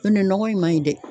N' o tɛ nɔgɔ in man ɲi dɛ.